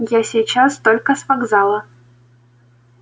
я сейчас только с вокзала